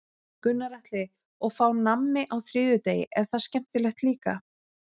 Gunnar Atli: Og fá nammi á þriðjudegi, er það skemmtilegt líka?